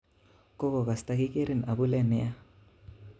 Kokokas tokikerin abule nia